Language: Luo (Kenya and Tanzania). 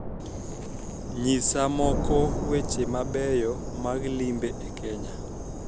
Nyisa moko weche mabeyo mag limbe e Kenya